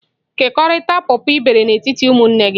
Kekọrịta pọpọ ị bere n'etiti ụmụnne gị!